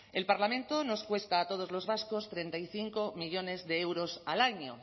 el parlamento nos cuesta a todos los vascos treinta y cinco millónes de euros al año